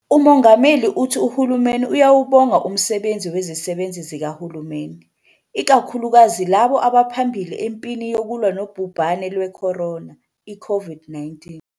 UMongameli uthi uhulumeni uyawubonga umsebenzi wezisebenzi zikahulumeni, ikakhulukazi labo abaphambili empini yokulwa nobhubhane lwe-corona, i-COVID-19.